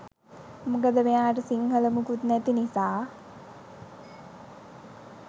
මොකද මෙයාට සිංහල මුකුත් නැති නිසා